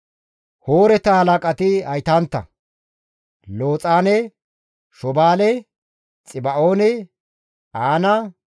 Hooreta halaqati haytantta; Looxaane, Shobaale, Xiba7oone, Aana,